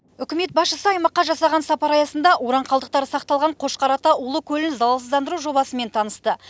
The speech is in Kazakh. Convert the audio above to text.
үкімет басшысы аймаққа жасаған сапары аясында уран қалдықтары сақталған қошқар ата улы көлін залалсыздандыру жобасымен танысты